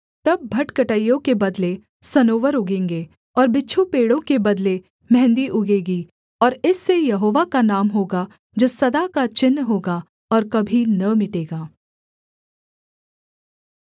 तब भटकटैयों के बदले सनोवर उगेंगे और बिच्छू पेड़ों के बदले मेंहदी उगेगी और इससे यहोवा का नाम होगा जो सदा का चिन्ह होगा और कभी न मिटेगा